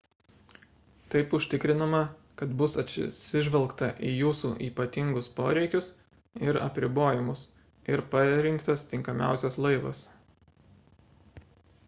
taip užtikrinama kad bus atsižvelgta į jūsų ypatingus poreikius ir apribojimus ir parinktas tinkamiausias laivas